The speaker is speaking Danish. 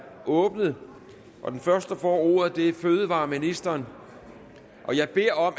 åbnet den første der får ordet er fødevareministeren